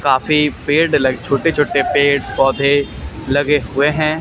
काफी पेड़ छोटे-छोटे पेड़ पौधे लगे हुए है।